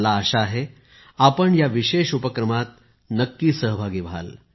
मला आशा आहे आपण या विशेष उपक्रमात नक्की सहभागी व्हाल